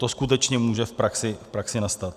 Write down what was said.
To skutečně může v praxi nastat.